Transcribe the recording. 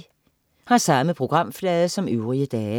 Samme programflade som øvrige dage